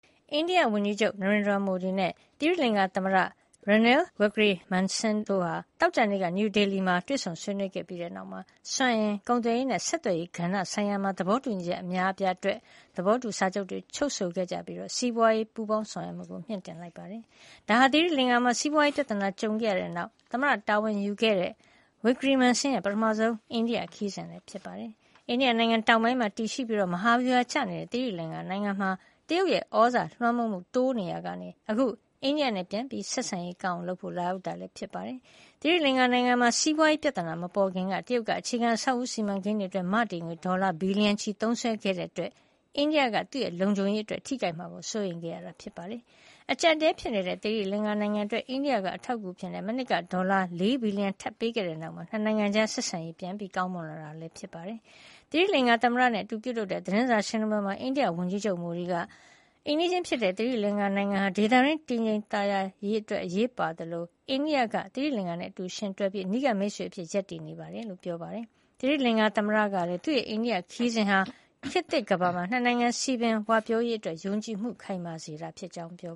အိန္ဒိယဝန်ကြီးချုပ် Narendra Modi နဲ့ သိရီလင်္ကာသမ္မတ Ranil Wickremesinghe တို့ဟာ သောကြာနေ့က နယူးဒေလီမှာ တွေ့ဆုံဆွေးနွေးပြီး နောက်မှာ စွမ်းအင်၊ ကုန်သွယ်ရေးနဲ့ ဆက်သွယ်ရေးကဏ္ဍ ဆိုင်ရာ သဘောတူညီချက် အများအပြားအတွက် သဘောတူ စာချုပ်တွေ ချုပ်ဆိုခဲ့ကြပြီး စီးပွါးရေးပူးပေါင်းဆောင်ရွက်မှု တိုးမြှင့်လိုက်ပါတယ်။ ဒါဟာ သီရိလင်္ကာမှာ စီးပွါးရေးပြဿနာနဲ့ ကြုံခဲ့ရတဲ့နောက် သမ္မတတာဝန်ယူခဲ့တဲ့ သမ္မတ Wickremesinghe ရဲ့ ပထမဆုံး အိန္ဒိယ ခရီးစဉ် ဖြစ်ပါတယ်။ အိန္ဒိယနိုင်ငံ တောင်ပိုင်းမှာတည်ရှိပြီး မဟာဗျူဟာကျနေတဲ့ သီရိလင်္ကာနိုင်ငံမှာ တရုတ်ရဲ့ သြဇာလွှမ်းမိုးမှု တိုးနေရာကနေ အခု အိန္ဒိယနဲ့ ဆက်ဆံရေးပြန်ကောင်းအောင် လုပ်ဖို့ လာရောက်တာလည်း ဖြစ်ပါတယ်။ သီရိလင်္ကာနိုင်ငံမှာ စီးပွါးရေးပြဿနာ မပေါ်ခင်က တရုတ်က အခြေခံအဆောက်အဦး စီမံကိန်းတွေ အတွက် မတည်ငွေ ဒေါ်လာ ဘီလီယံချီ သုံးစွဲခဲ့တာကြောင့် အိန္ဒိယက သူ့လုံခြုံရေးအတွက် ထိခိုက်မှာကို စိုးရိမ်ခဲ့ရတာပါ။ အကြပ်အတည်းဖြစ်နေတဲ့ သီရိလင်္ကာနိုင်ငံ အတွက် အိန္ဒိယက အထောက်အကူအဖြစ် မနှစ်က ဒေါ်လာ ၄ ဘီလီယံ ထပ်ပေးခဲ့တဲ့ နောက်မှာ ၂ နိုင်ငံကြား ဆက်ဆံရေး ကောင်းမွန်လာတာလည်း ဖြစ်ပါတယ်။ သီရိလင်္ကာ သမ္မတနဲ့ အတူပြုလုပ်တဲ့ သတင်းစာရှင်းလင်းပွဲမှာတော့ အိန္ဒိယ ဝန်ကြီးချုပ် Modi က အိမ်နီးချင်း ဖြစ်တဲ့ သီရိလင်္ကာနိုင်ငံဟာ ဒေသတွင်းတည်ငြိမ် သာယာဝပြောရေးအတွက် အရေးပါသလို အိန္ဒိယက သီရိလင်္ကာနိုင်ငံနဲ့ အတူယှဉ်တွဲပြီး အနီးကပ်မိတ်ဆွေ အဖြစ် ရပ်တည်နေကြောင်း ပြောပါတယ်။ သီရိလင်္ကာသမ္မတ Wickremesinghe ကလည်း သူ့ရဲ့ အိန္ဒိယခရီးစဉ်ဟာ ခေတ်သစ်ကမ္ဘာမှာ ၂ နိုင်ငံ စည်ပင်ဝပြောရေး အတွက် ယုံကြည်မှုခိုင်မာစေတာ ဖြစ်ကြောင်း ပြော